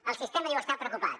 el sistema diu està preocupat